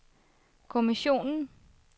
kommissionen